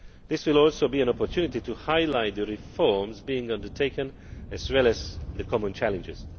This will also be an opportunity to highlight the reforms being undertaken as well as the common challenges.